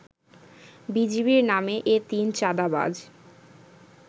বিজিবির নামে এ তিন চাঁদাবাজ